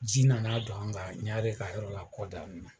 Ji nana don an kan, Ɲare ka yɔrɔ la kɔdanin na.